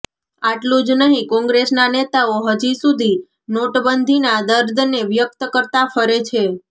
આટલું જ નહીં કોંગ્રેસના નેતાઓ હજી સુધી નોટબંધીના દર્દને વ્યક્ત કરતા ફરે છે